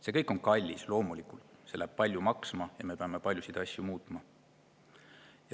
See kõik on kallis, loomulikult, see läheb palju maksma ja me peame paljusid asju muutma.